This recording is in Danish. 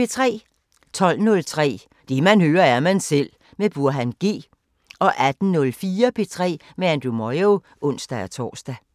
12:03: Det man hører, er man selv med Burhan G 18:04: P3 med Andrew Moyo (ons-tor)